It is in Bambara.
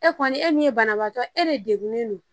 E kɔni e min ye banabaatɔ e de degunen don